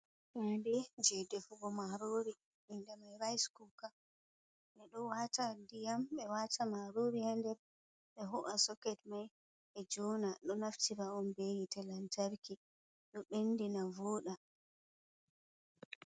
Hunde jedefugo maruri inde mai rase cuoka, ɓe ɗo wata diyam ɓe wata maruri hander, be ho’a soket mai ɓe jona ɗo nafti ra’om be yite lantarki, ɗo ɓendina vuɗa.